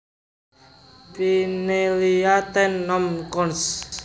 Pinellia Ten nom cons